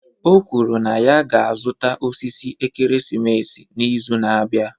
O kwuru na ya ga-azụta osisi ekeresimesi n'izu na-abịa